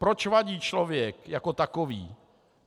Proč vadí člověk jako takový?